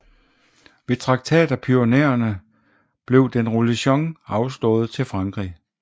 Ved Traktat af Pyrenæerne den Roussillon blev afstået til Frankrig